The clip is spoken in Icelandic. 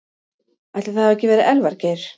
Ætli það hafi ekki verið Elvar Geir.